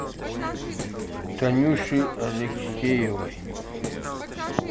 танюши алексеевой